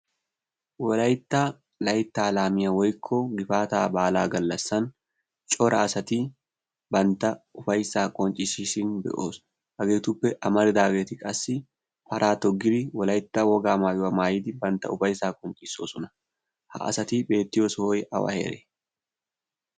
wolaitta layttaa laamiya woikko gifaataa baalaa gallassan cora asati bantta ufaissaa qonccissiisin be'oos. hageetuppe amaridaageeti qassi paraa toggiri wolaitta wogaa maayuwaa maayidi bantta ufaisaa qonccissoosona ha asati beettiyo sohoy awa heree?